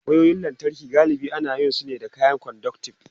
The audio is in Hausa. Wayoyin lantarki galibi ana yin su ne da kayan conductive.